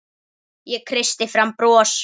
Ég kreisti fram bros.